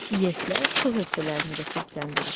İES-lər su hövzələrini də çirkləndirir.